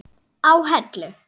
á Hellu.